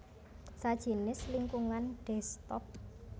sajinis lingkungan desktop